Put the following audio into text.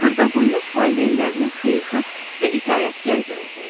Xırdaboynuz valideynlərinin xeyirxah və itaətkar bir oğlu idi.